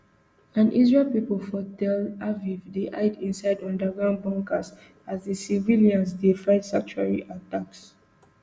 and israel pipo for tel aviv dey hide inside underground bunkers as di civilians dey find sanctuary attacks